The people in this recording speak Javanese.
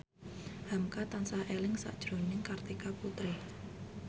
hamka tansah eling sakjroning Kartika Putri